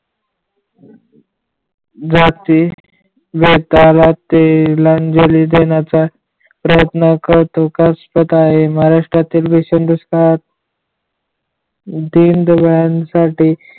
जाती व त्याला तिलांजली देण्याचा प्रयत्न करतो शंकास्पद आहे महाराष्ट्रातील दुष्काळ दीनदुबळ्यांसाठी